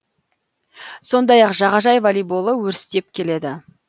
сондай ақ жағажай волейболы өрістеп келеді